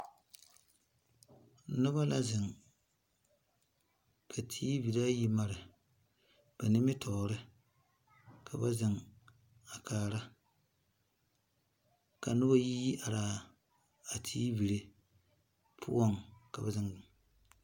Nuba la zeng ka tv ayi mari ba nimitoori ka ba zeng a kaara ka nuba yi yi araa a tv puo ka ba zeng.